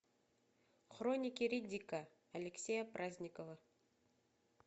хроники риддика алексея праздникова